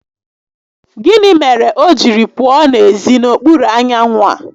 Gịnị mere o jiri pụọ n'ezi n'okpuru anyanwụ a?